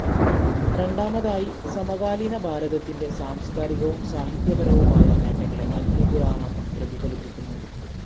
രണ്ടാമതായി, സമകാലീനഭാരതത്തിന്റെ സാംസ്കാരികവും സാഹിത്യപരവുമായ നേട്ടങ്ങളെ അഗ്നിപുരാണം പ്രതിഫലിപ്പിക്കുന്നു.